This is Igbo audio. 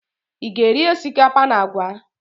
Ị ga-eri osikapa na àgwà?